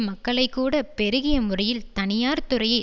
மக்களை கூட பெருகிய முறையில் தனியார் துறையை